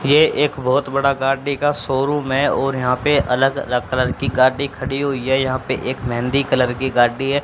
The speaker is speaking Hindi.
ये एक बहोत बड़ा गाड़ी का सोरूम है और यहां पे अलग अलग कलर की गाड़ी खड़ी हुई है यहां पे एक मेहंदी कलर की गाड़ी है।